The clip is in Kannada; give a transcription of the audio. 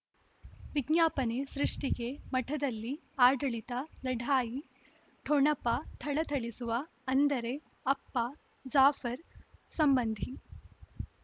ವಿಜ್ಞಾಪನೆ ಸೃಷ್ಟಿಗೆ ಮಠದಲ್ಲಿ ಆಡಳಿತ ಲಢಾಯಿ ಠೊಣಪ ಥಳಥಳಿಸುವ ಅಂದರೆ ಅಪ್ಪ ಜಾಫರ್ ಸಂಬಂಧಿ